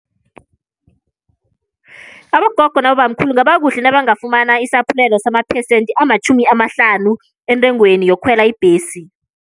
Abogogo nabobamkhulu kungaba kuhle nabangafumana isaphulelo samaphesente amatjhumi amahlanu entengweni yokukhwela ibhesi.